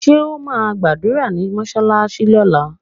Ṣé o ma gbàdúrà ní mọsalasi lóla?